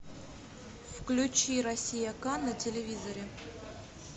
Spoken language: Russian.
включи россия к на телевизоре